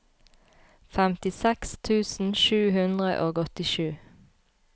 femtiseks tusen sju hundre og åttisju